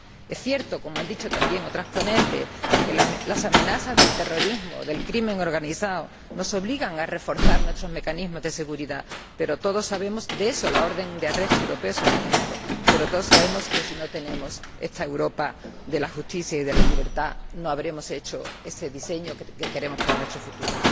Es cierto, como han dicho también otras ponentes, que las amenazas del terrorismo, del crimen organizado, nos obligan a reforzar nuestros mecanismos de seguridad de ello es un ejemplo la orden europea de detención pero todos sabemos que si no tenemos esta Europa de la justicia y de la libertad, no habremos hecho ese diseño que queremos para nuestro futuro.